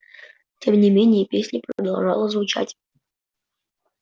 тем не менее песня продолжала звучать